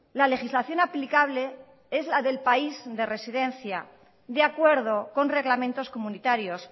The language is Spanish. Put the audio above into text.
la legislación aplicable es la del país de residencia de acuerdo con reglamentos comunitarios